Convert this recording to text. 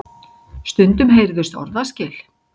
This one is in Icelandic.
Stundum heyrðust orðaskil.